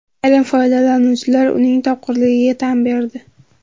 Ayrim foydalanuvchilar uning topqirligiga tan berdi.